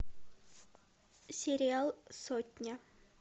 сериал сотня